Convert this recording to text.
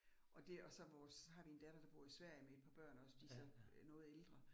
Og det og så vores har vi en datter, der bor i Sverige med et par børn også, de så øh noget ældre